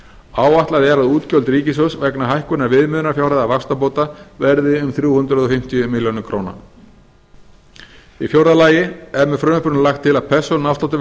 áætlað er að útgjöld ríkissjóðs vegna hækkunar viðmiðunarfjárhæða vaxtabóta verði um þrjú hundruð fimmtíu milljónir króna í fjórða lagi er með frumvarpinu lagt til að persónuafsláttur